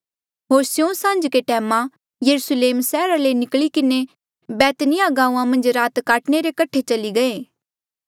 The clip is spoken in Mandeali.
होर स्यों सांझ्के टैमा यरुस्लेम सैहरा ले निकली किन्हें बैतनियाह गांऊँआं मन्झ रात काटणे रे कठे चली गये